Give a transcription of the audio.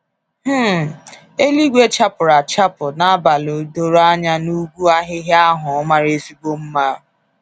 um Eluigwe chapụrụ achapụ n'abalị doro anya n’ugwu ahịhịa ahụ mara ezigbo mma.